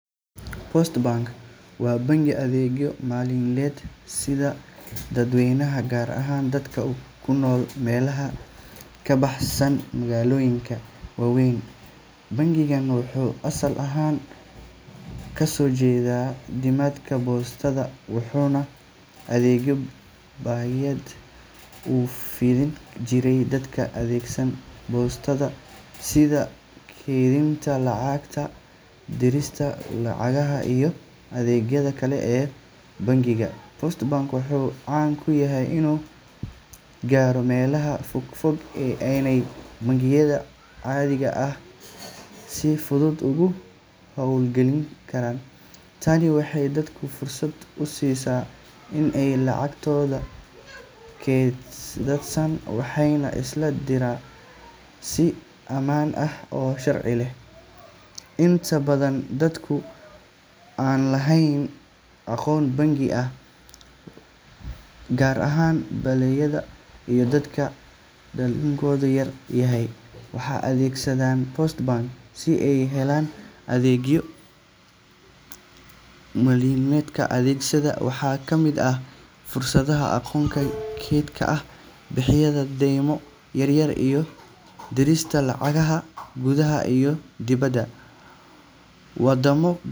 Post Bank waa bangi adeegyo maaliyadeed siiya dadweynaha, gaar ahaan dadka ku nool meelaha ka baxsan magaalooyinka waaweyn. Bangigan wuxuu asal ahaan ka soo jeedaa nidaamka boostada, wuxuuna adeegyo bangiyeed u fidin jiray dadka adeegsada boostada, sida kaydinta lacagta, dirista lacagaha, iyo adeegyada kale ee bangiga. Post Bank wuxuu caan ku yahay inuu gaaro meelaha fogfog ee aanay bangiyada caadiga ahi si fudud uga howlgelin. Tani waxay dadka fursad u siisaa in ay lacagtooda kaydsadaan, waxna iska diraan si ammaan ah oo sharci ah. Inta badan dadka aan lahayn akoon bangi, gaar ahaan beeraleyda iyo dadka dakhligoodu yar yahay, waxay adeegsadaan Post Bank si ay u helaan adeegyo maaliyadeed. Adeegyadiisa waxaa ka mid ah furashada akoonyo kayd ah, bixinta deymo yaryar, iyo dirista lacagaha gudaha iyo dibadda. Wadamo.